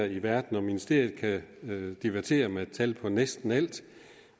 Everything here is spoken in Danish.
i verden og ministeriet kan divertere os med et tal på næsten alt